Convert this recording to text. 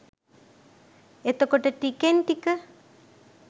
එතකොට ටිකෙන් ටික